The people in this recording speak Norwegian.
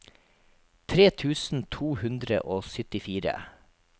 tre tusen to hundre og syttifire